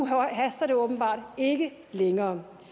haster det åbenbart ikke længere